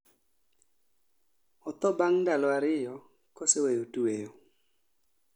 Otho bang' ndalo ariyo koseweyo tweyo